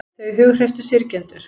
Þau hughreystu syrgjendur